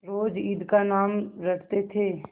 रोज ईद का नाम रटते थे